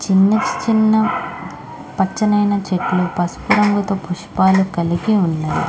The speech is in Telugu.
చిన్న చిన్న పచ్చనైన చేతులు పసుపు రంగుతో పుష్పలు కలిపే ఉన్నాయి.